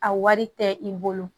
A wari tɛ i bolo